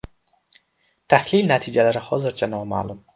Tahlil natijalari hozircha noma’lum.